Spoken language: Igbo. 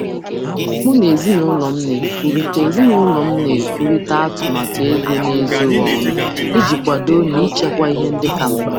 M na-ekwurịta atụmatụ ego n'ezoghị ọnụ na ezinụlọ iji kwado na ihe kacha mkpa nchekwa.